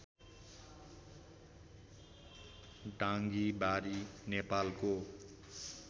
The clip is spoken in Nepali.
डाँगीबारी नेपालको